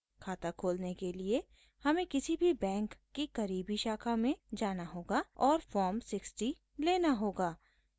खाता खोलने के लिए हमें किसी भी बैंक की करीबी शाखा में जाना होगा और फॉर्म 60 लेना होगा